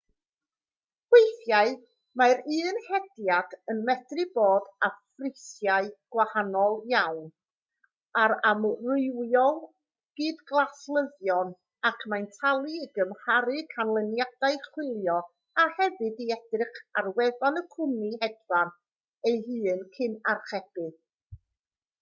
weithiau mae'r un hediad yn medru bod â phrisiau gwahanol iawn ar amrywiol gydgaslyddion ac mae'n talu i gymharu canlyniadau chwilio a hefyd i edrych ar wefan y cwmni hedfan ei hun cyn archebu